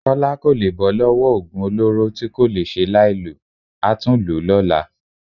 Kọ́lá kò lè bọ́ lọ́wọ́ oògùn olóró tí kò le ṣe láìlò, a tún lò ó lọ́la